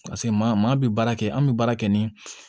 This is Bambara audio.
Paseke maa bɛ baara kɛ an bɛ baara kɛ ni